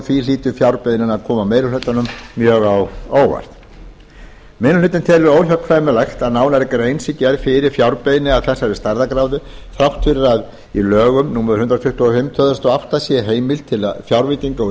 því hlýtur fjárbeiðnin að koma meiri hlutanum mjög á óvart minni hlutinn telur óhjákvæmilegt að nánari grein sé gerð fyrir fjárbeiðni af þessari stærðargráðu þrátt fyrir að í lögum númer hundrað tuttugu og fimm tvö þúsund og átta sé heimild til fjárveitinga úr